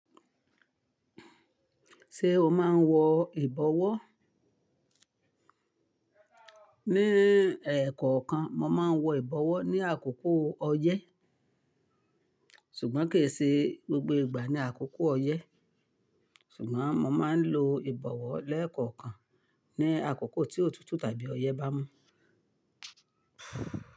Ṣé o máa ń wọ ìbọwọ́? Ní èèkokan mo máa ń wọ ìbọwọ́ ní àkókò ọyẹ́ ṣùgbọ́n kì í ṣe gbogbo ìgbà ni àkókò ọyẹ́. Ṣùgbọ́n mo máa ń lo ìbọwọ́ lẹ́ẹ̀kọ̀kan ní àkókò tí òtútù tàbí ọyẹ́ bá mú.